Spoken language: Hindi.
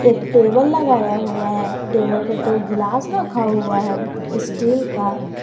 एक टेबल लगाया हुआ है टेबल पे दो गिलास रखा हुआ है स्टील का।